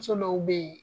Muso dɔw be yen